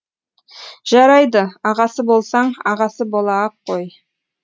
жарайды ағасы болсаң ағасы бола ақ қой